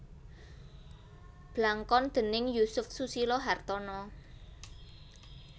Blangkon déning Yusuf Susilo Hartono